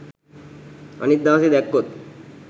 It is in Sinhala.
අනිත් දවසේ දැක්කොත්